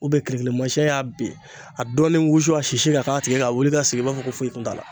U be kilikilimasiyɛn y'a bin, a dɔɔnin wusu a sisi ka k'a tigi ka wuli ka sigi i b'a fɔ ko foyi tun t'a la.